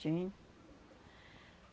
Tinha.